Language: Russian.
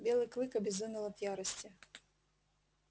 белый клык обезумел от ярости